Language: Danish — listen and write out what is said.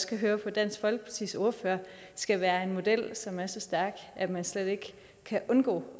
kan høre på dansk folkepartis ordfører skal være en model som er så stærk at man slet ikke kan undgå